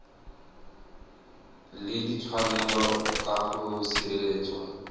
le ditshwanelo tsa go sireletswa